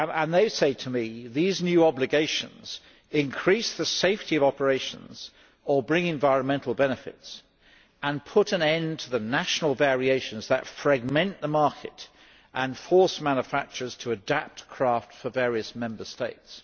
They said to me that these obligations increase the safety of operations or bring environmental benefits and put an end to the national variations that fragment the market and force manufacturers to adapt craft for various Member States.